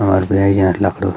हमर बरईजा लखडू।